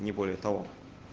не более того